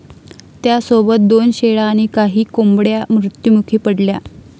त्यासोबत दोन शेळ्या आणि काही कोंबड्या मृत्यूमुखी पडल्या.